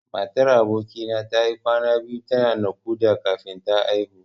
Matar aboki na tayi kwana biyu tana naƙuda kafin ta haihu.